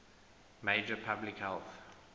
major public health